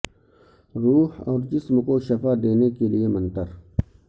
روح اور جسم کو شفا دینے کے لئے منتر